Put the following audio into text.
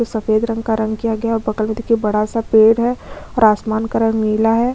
जो सफेद रंग का रंग किया गया है और बगल में देखिये बड़ा सा पेड़ है और आसमान का रंग नीला है।